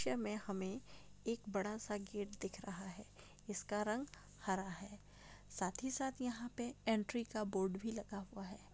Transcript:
चित्र में हमें एक बडा सा गेट दिख रहा है इसका रंग हरा है साथी साथ यहाँ पे एन्ट्री का बोर्ड भी लगा हुआ है।